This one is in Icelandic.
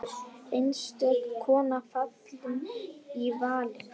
Einstök kona fallin í valinn.